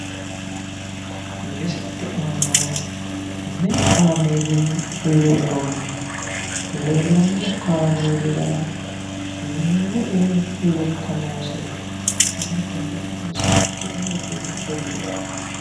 Misilete aana meu kaameeli leellanno? Leellanno kaameelira me''e lekka noosiho? Hanni tenne xa'mo seekitine heddine qolle''e?